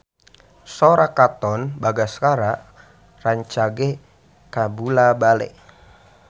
Sora Katon Bagaskara rancage kabula-bale